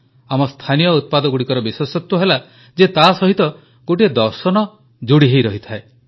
ଆମ ସ୍ଥାନୀୟ ଉତ୍ପାଦଗୁଡ଼ିକର ବିଶେଷତ୍ୱ ହେଲା ଯେ ତାସହିତ ଗୋଟିଏ ଦର୍ଶନ ଯୋଡ଼ି ହୋଇ ରହିଥାଏ